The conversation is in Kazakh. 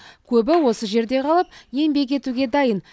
көбі осы жерде қалып еңбек етуге дайын